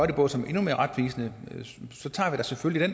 det på som er endnu mere retvisende så tager vi da selvfølgelig